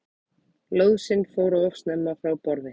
Lóðsinn fór of snemma frá borði